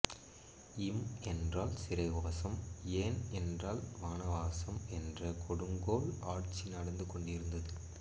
இம் என்றால் சிறைவாசம் ஏன் என்றால் வனவாசம் என்ற கொடுங்கோல் ஆட்சி நடந்து கொண்டிருந்தது